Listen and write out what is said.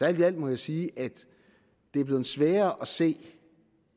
alt må jeg sige at det er blevet sværere at se